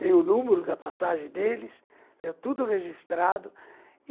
tem o número da passagem deles, tenho tudo registrado.